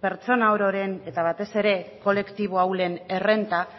pertsona ororen eta batez ere kolektibo ahulen errenta